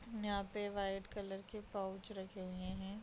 यहाँ पे white colour के पाउच रखे हुए हैं।